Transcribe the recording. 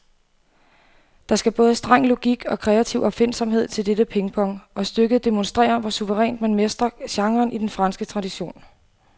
Der skal både streng logik og kreativ opfindsomhed til dette pingpong, og stykket demonstrerer, hvor suverænt man mestrer genren i den franske tradition.